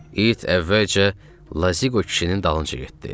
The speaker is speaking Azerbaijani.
İt əvvəlcə Lazıqo kişinin dalınca getdi.